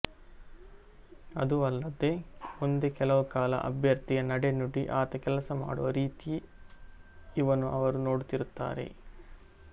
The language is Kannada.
ಅದೂ ಅಲ್ಲದೆ ಮುಂದೆ ಕೆಲವು ಕಾಲ ಅಭ್ಯರ್ಥಿಯ ನಡೆನುಡಿ ಆತ ಕೆಲಸ ಮಾಡುವ ರೀತಿಇವನ್ನು ಅವರು ನೋಡುತ್ತಿರುತ್ತಾರೆ